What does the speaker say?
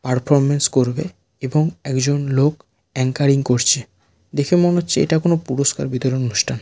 Performance করবে এবং একজন লোক এংকারিং করছে দেখে মনে হচ্ছে এটা কোন পুরস্কার বিতরণ অনুষ্ঠান।